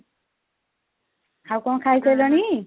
ଆଉ କଣ ଖାଇ ସାରିଲାଣି?